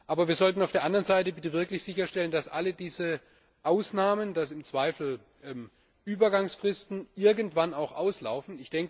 Aber wir sollten auf der anderen Seite bitte wirklich sicherstellen, dass alle diese Ausnahmen, dass im Zweifel Übergangsfristen irgendwann auch auslaufen.